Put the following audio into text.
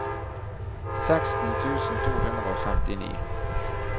seksten tusen to hundre og femtini